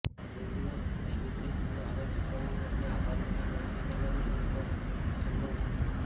તે દિવસ દિમિત્રી સામે આવે ટિપ્પણીઓ અને આભાર નંબર ગણતરી કરવાની લગભગ અસંભવ છે